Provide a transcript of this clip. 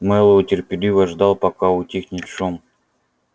мэллоу терпеливо ждал пока утихнет шум